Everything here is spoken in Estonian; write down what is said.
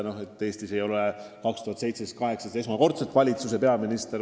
Noh, Eestis ei ole aastail 2017 ja 2018 esmakordselt olemas valitsus ja peaminister.